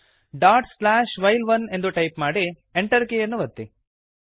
dot slash while one ಎಂದು type ಮಾಡಿ Enter ಕೀಯನ್ನು ಒತ್ತಿ